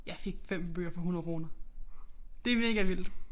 Jeg fik 5 bøger for 100 kroner det mega vildt